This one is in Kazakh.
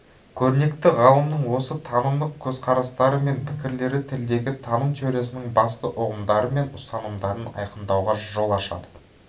көрнекті ғалымның осы танымдық көзқарастары мен пікірлері тілдегі таным теориясының басты ұғымдары мен ұстанымдарын айқындауға жол ашады